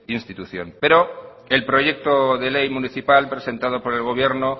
institución pero el proyecto de ley municipal presentada por el gobierno